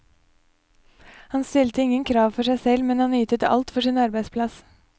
Han stilte ingen krav for seg selv, men han ytet alt for sin arbeidsplass.